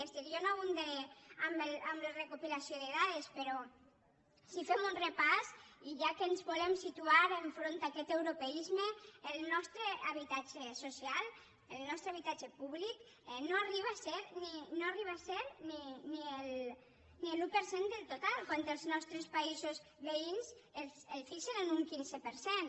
és a dir jo no abundaré en la recopilació de dades però si fem un repàs i ja que ens volem situar enfront d’aquest europeisme el nostre habitatge so cial el nostre habitatge públic no arriba a ser ni l’un per cent del total quan els nostres països veïns el fixen en un quinze per cent